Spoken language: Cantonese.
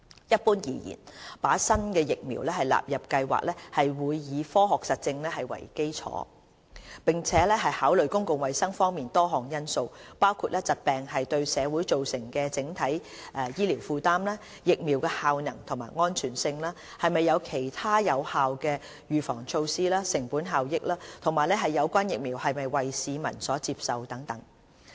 一般而言，把新疫苗納入計劃會以科學實證為基礎，並考慮公共衞生方面多項因素，包括疾病對社會造成的整體醫療負擔、疫苗的效能及安全性、是否有其他有效的預防措施、成本效益、有關疫苗是否為市民所接受等。